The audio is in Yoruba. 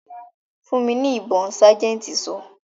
"Fún mi ní ibon' sájẹ̀ntì sọ.